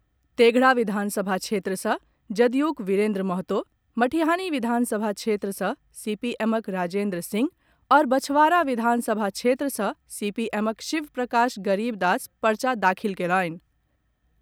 तेघड़ा विधानसभा क्षेत्र सँ जदयूक विरेन्द्र महतो, मटिहानी विधानसभा क्षेत्र सँ सीपीएमक राजेन्द्र सिंह आओर बछवारा विधानसभा क्षेत्र सँ सीपीएमक शिव प्रकाश गरीब दास पर्चा दाखिल कयलनि।